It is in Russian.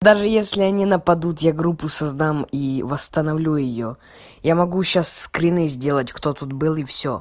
даже если они нападут я группу создам и восстановлю её я могу сейчас скрины сделать кто тут был и